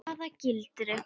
Hvaða gildru?